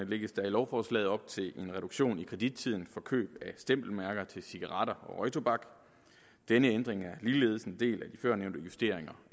lægges der i lovforslaget op til en reduktion i kredittiden for køb af stempelmærker til cigaretter og røgtobak denne ændring er ligeledes en del af de førnævnte justeringer